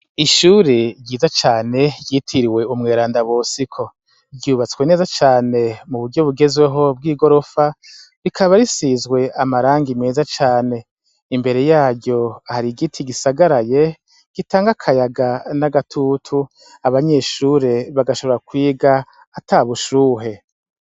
Ishure ryiza cane ryitiriwe unweranda Bosiko. Ryubatswe neza cane muburyo bugezweho bw’igorofa, rikaba risizwe amarangi meza cane. Imbere yaryo har’igiti gisagaraye gitang’akayaga n’agatutu. Abanyeshure bagashobora kwiga atabushuhe.